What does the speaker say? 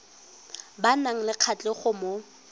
ba nang le kgatlhego mo